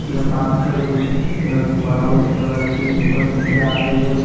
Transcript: ये पार्क है जो कि बना हुआ है जिसपे लड़की ऊपर से नीचे आ रही है।